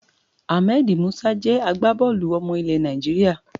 Ahmed Musa jẹ́ agbábọ́ọ̀lù ọmọ ilẹ̀ Nàìjíríà.